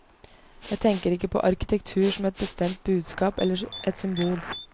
Jeg tenker ikke på arkitektur som et bestemt budskap eller et symbol.